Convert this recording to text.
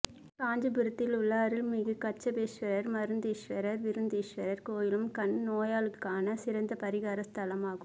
காஞ்சிபுரத்திலுள்ள அருள்மிகு கச்சபேஸ்வரர் மருந்தீஸ்வரர் விருந்தீஸ்வரர் கோயிலும் கண் நோய்களுக்கான சிறந்த பரிகார ஸ்தலமாகும்